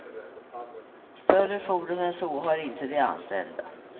Större fordon än så har inte de anställda.